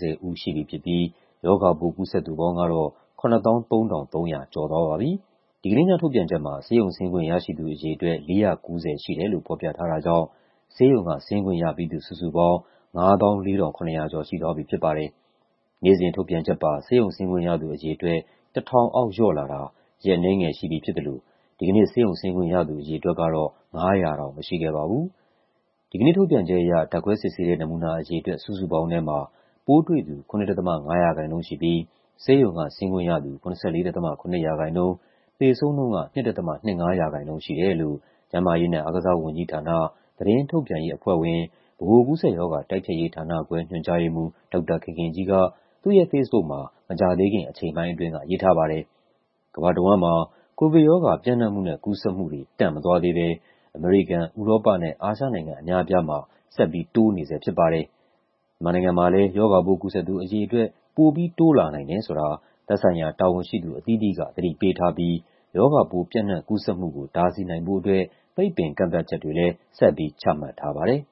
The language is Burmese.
၀ ဦး ရှိပြီဖြစ်ပြီး ရောဂါပိုး ကူးစက်သူပေါင်းကတော့ ၇၃,၃၂၂ ဦး ရှိသွားပါပြီ။ ဒီကနေ့ညထုတ်ပြန်ချက်မှာ ဆေးရုံဆင်းခွင့်ရရှိသူအရေအတွက် ၄၉၀ ဦးရှိတယ်လို့ ဖော်ပြထားတာကြောင့် ဆေးရုံကဆင်းခွင့်ရပြီးသူ စုစုပေါင်း ၅၄,၇၆၄ ဦး ရှိသွားပြီဖြစ်ပါတယ်။ နေ့စဉ်ထုတ်ပြန်ချက်ပါ ဆေးရုံဆင်းခွင့်ရသူ အရေအတွက် ၁,၀၀၀ အောက်လျော့လာတာ ရက်အနည်းငယ်ရှိပြီဖြစ်သလို ဒီကနေ့ ဆေးရုံဆင်းခွင့်ရသူ အရေအတွက်ကတော့ ၅၀၀ တောင်မရှိခဲ့ပါဘူး။ ဒီကနေ့ထုတ်ပြန်ချက်အရ ဓာတ်ခွဲစစ်ဆေးတဲ့ နမူနာအရေအတွက် စုစုပေါင်းထဲမှာ ပိုးတွှေ့သူ ၇.၅% ရှိပြီး ဆေးရုံကဆင်းခွင့်ရသူ ၇၄.၇% ၊ သေဆုံးနှုန်းက ၂.၂၅% ရှိတယ်လို့ ကျန်းမာရေးနဲ့အားကစားဝန်ကြီးဌာန၊ သတင်းထုတ်ပြန်ရေးအဖွဲ့ဝင်၊ ဗဟိုကူးစက်ရောဂါ တိုက်ဖျက်ရေးဌာနခွဲ ညွှန်ကြားရေးမှူး ဒေါက်တာခင်ခင်ကြီးက သူ့ရဲ့ဖေ့စ်ဘုတ်မှာ မကြာသေးခင် အချိန်ပိုင်းအတွင်းက ရေးထားပါတယ်။ ကမ္ဘာတဝန်းမှာ ကိုဗစ်ရောဂါ ပျံ့နှံ့မှုနဲ့ကူးစက်မှုတွေ တန့်မသွားသေးဘဲ အမေရိကန်၊ ဥရောပနဲ့ အာရှနိုင်ငံအများအပြားမှာ ဆက်ပြီးတိုးနေဆဲဖြစ်ပါတယ်။ မြန်မာနိုင်ငံမှာလည်း ရောဂါပိုးကူးစက်သူ အရေအတွက် ပိုပြီးတိုးလာနိုင်တယ်ဆိုတာ သက်ဆိုင်ရာ တာဝန်ရှိသူအသီးသီးက သတိပေးထားပြီး ရောဂါပိုးပျံ့နှံ့ကူးစက်မှုကို တားဆီးနိုင်ဖို့အတွက် ပိတ်ပင်ကန့်သတ်ချက်တွေလည်း ဆက်ပြီးချမှတ်ထားပါတယ်။